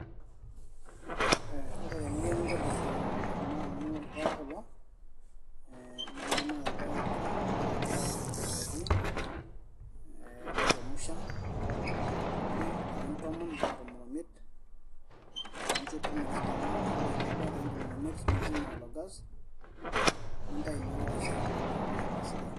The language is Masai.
ee ore eninko tenintobirr ena amu ilpayek kulo ee naa idumu ake irpayek nipik atua emoti ninchemsha pii ildakikani tomon mpaka tomon omiet nincho pii metisidana ore peebaya ildakikani tomon omiet nizima ilo gas nintayu naa orkeseri lino etaa sidai.